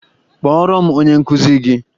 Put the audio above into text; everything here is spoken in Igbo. Kpọọrọ m onye nkụzi gị!